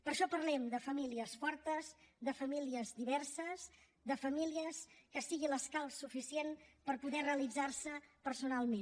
per això parlem de famílies fortes de famílies diverses de famílies que siguin l’escalf suficient per poder realitzar se personalment